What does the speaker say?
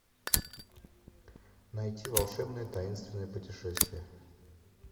найти волшебное таинственное путешествие